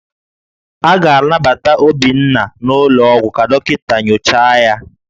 A ga-anabata Obinna n'ụlọọgwụ ka dọkịta nyochaa ya